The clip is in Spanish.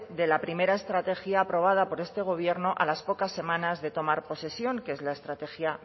de la primera estrategia aprobada por este gobierno a las pocas semanas de tomar posesión que es la estrategia